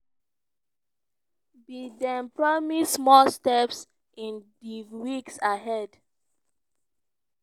biden promise "more steps in di weeks ahead".